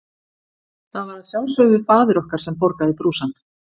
Það var að sjálfsögðu faðir okkar sem borgaði brúsann.